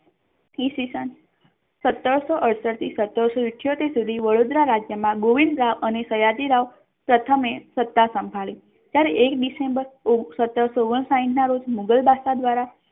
ઈસ્વીસન સત્તરસો અડસઠ થી સત્તરસો ઈઠ્યોતેર સુધી વડોદરા રાજ્ય મા ગોવિંદરાઓ અને સયાજીરાઓ પ્રથમ એ સત્તા સાંભળી સન એક december સત્તરસો ઓગણ સાહીઠ ના રોજ મુઘલ બાદશાહ દ્વારા